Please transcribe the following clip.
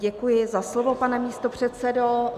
Děkuji za slovo, pane místopředsedo.